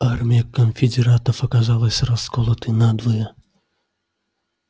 армия конфедератов оказалась расколотой надвое